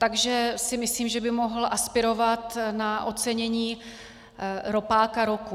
Takže si myslím, že by mohl aspirovat na ocenění Ropáka roku.